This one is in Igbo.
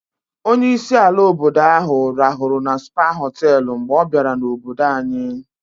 Onye isi ala obodo ahụ rahụrụ na Spa họtelụ mgbe ọ bịara n'obodo anyị.